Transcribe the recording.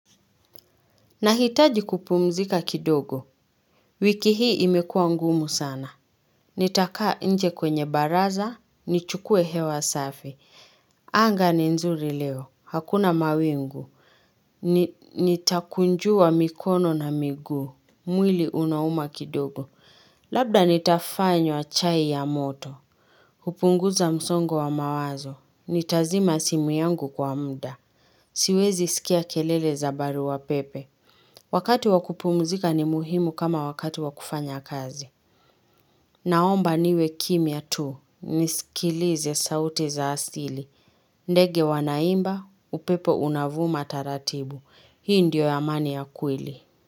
Nahitaji kupumzika kidogo. Wiki hii imekuwa ngumu sana. Nitakaa nje kwenye baraza. Nichukue hewa safi. Anga ni nzuri leo. Hakuna mawingu. Nitakunjua mikono na miguu. Mwili unauma kidogo. Labda nitafanywa chai ya moto. Kupunguza msongo wa mawazo. Nitazima simu yangu kwa muda. Siwezi sikia kelele za barua pepe. Wakati wa kupumuzika ni muhimu kama wakati wa kufanya kazi. Naomba niwe kimya tu, nisikilize sauti za asili. Ndege wanaimba, upepo unavuma taratibu. Hii ndio amani ya kweli.